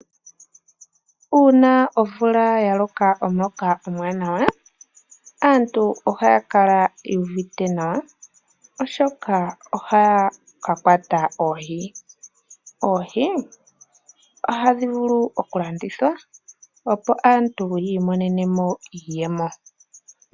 Uuna omvula ya loka omuloka omuwanawa aantu ohaya yu uvite nawa oshoka ohaya ka kwata oohi. Oohi ohadhi vulu okulandithwa opo aantu yi imonene mo iiyemo.